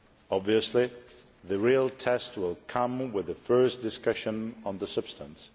Obviously, the real test will come with the first discussions on the substance.